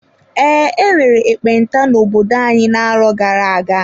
Ee, enwere ekpenta n'obodo anyị na-arọ gara-aga.